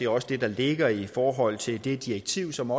også det der ligger i forhold til det direktiv som